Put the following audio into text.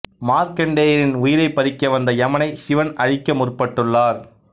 மார்க்கண்டேயரின் உயிரைப் பறிக்க வந்த எமனைச் சிவன் அழிக்க முற்பட்டுள்ளார்